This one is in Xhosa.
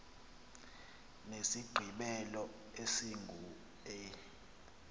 nesigqibelo esingu e